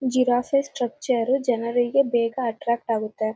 Giraffe structure ಜನರಿಗೆ ಬೇಗ attract ಆಗುತ್ತೆ.